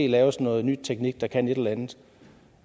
laves noget ny teknik der kan et eller andet